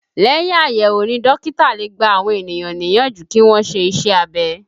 Lẹ́yìn àyẹ̀wò ni dókítà lè gbà àwọn ènìyàn níyànjú kí wọn ṣe iṣẹ́ abẹ